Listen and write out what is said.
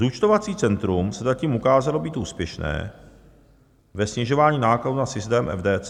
Zúčtovací centrum se zatím ukázalo být úspěšné ve snižování nákladů na systém FDC.